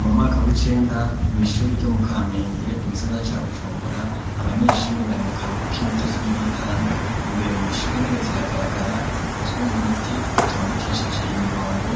Mu mwaka w'icenda mw'ishuri ryo mu kamenge mu gisagara ca Bujumbura abanyeshuri bari mu karuhuko k'iminuta cumi n'itanu imbere mu ishuri intebe ziragaragara zikozwe mu biti zitondekesheje imirongo